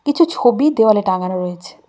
কিছু ছবি দেওয়ালে টাঙানো রয়েছে।